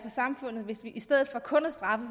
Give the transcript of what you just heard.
samfundet hvis vi i stedet for kun at straffe